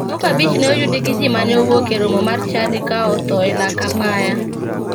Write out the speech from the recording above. Ji moko abich ne oyudi gi ji mane owuok e romo mar chadi ka otho e lak apaya.